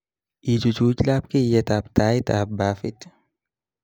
ichuch labkeyet ab tait ab bafit